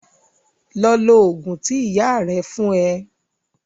Lọ lò òògùn tí ìyá rà fún ẹ.